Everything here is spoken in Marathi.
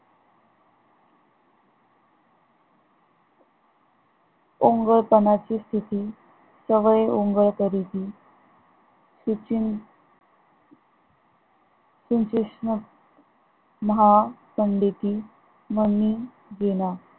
ओंगळपणाची स्थित जव ओंगन करती श्री कृष्ण महा पंडित